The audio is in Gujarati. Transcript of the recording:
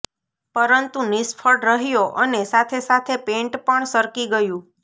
પરંતુ નિષ્ફળ રહ્યો અને સાથે સાથે પેન્ટ પણ સરકી ગયું